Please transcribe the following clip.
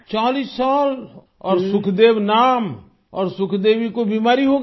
40 साल और सुखदेव नाम और सुखदेवी को बीमारी हो गई